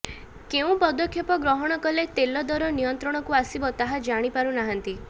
କେଉଁ ପଦକ୍ଷେପ ଗ୍ରହଣ କଲେ ତେଲ ଦର ନିୟନ୍ତ୍ରଣକୁ ଆସିବ ତାହା ଜାଣିପାରୁନାହାନ୍ତି